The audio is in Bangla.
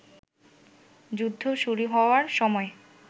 যুদ্ধ শুরু হওয়ার সময়